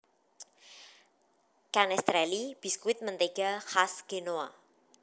Canestrelli biskuit mentega khas Genoa